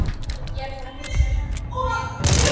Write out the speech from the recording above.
Ég er bara að hugsa mig um.